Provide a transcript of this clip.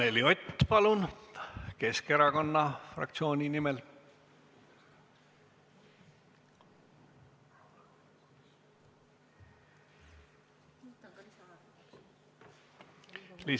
Anneli Ott, palun, Keskerakonna fraktsiooni nimel!